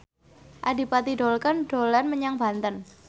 Adipati Dolken dolan menyang Banten